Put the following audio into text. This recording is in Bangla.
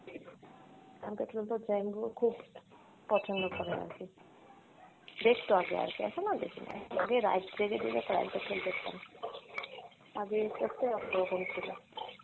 crime petrol তোর জাইমবু খুব পছন্দ করে আরকি, দেখতো আগে আরকি এখন আর দেখিনা, আগে রাত জেগে জেগে crime petrol দেখতাম আগে ছিলো